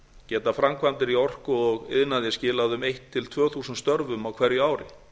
geta framkvæmdir í orku og iðnaði skilað um þúsund til tvö þúsund störfum á hverju ári